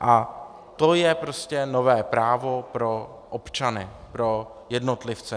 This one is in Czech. A to je prostě nové právo pro občany, pro jednotlivce.